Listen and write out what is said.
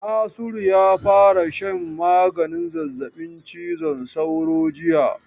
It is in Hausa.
Nasiru ya fara shan maganin zazzabin cizon sauro jiya.